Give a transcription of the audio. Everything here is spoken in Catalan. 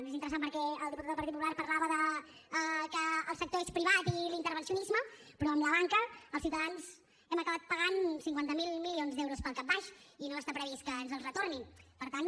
i és interessant perquè el diputat del partit popular parlava de que el sector és privat i l’intervencionisme però amb la banca els ciutadans hem acabat pagant cinquanta miler milions d’euros pel capbaix i no està previst que ens els retornin per tant